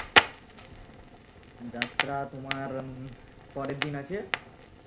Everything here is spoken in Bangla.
যাত্রা তোমার পরের দিন আছে